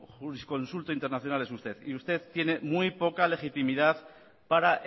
jurisconsulto internacional es usted y usted tiene muy poca legitimidad para